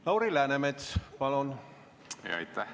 Lauri Läänemets, palun!